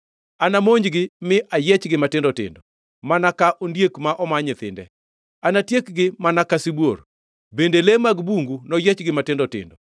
Anamonjgi mi ayiechgi matindo tindo mana ka ondiek ma omaa nyithinde. Anatiekgi mana ka sibuor, bende le mag bungu noyiechgi matindo tindo.